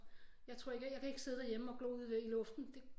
Jeg tror ikke jeg kan ikke sidde derhjemme og glo ud i luften det